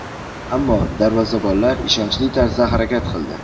Ammo darvozabonlar ishonchli tarzda harakat qildi.